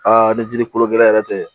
ni jiri kolo gɛlɛn yɛrɛ tɛ